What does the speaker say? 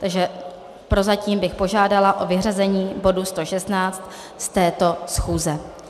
Takže prozatím bych požádala o vyřazení bodu 116 z této schůze.